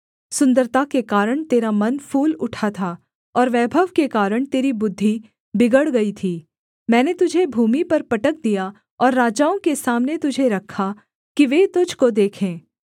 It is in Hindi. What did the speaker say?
सुन्दरता के कारण तेरा मन फूल उठा था और वैभव के कारण तेरी बुद्धि बिगड़ गई थी मैंने तुझे भूमि पर पटक दिया और राजाओं के सामने तुझे रखा कि वे तुझको देखें